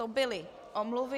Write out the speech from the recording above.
To byly omluvy.